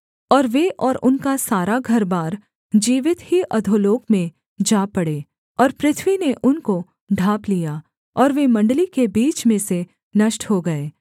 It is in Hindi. और वे और उनका सारा घरबार जीवित ही अधोलोक में जा पड़े और पृथ्वी ने उनको ढाँप लिया और वे मण्डली के बीच में से नष्ट हो गए